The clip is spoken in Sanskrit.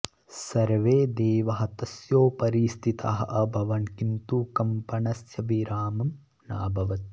सर्वे देवाः तस्योपरि स्थिताः अभवन् किन्तु कम्पनस्य विरामं नाभवत्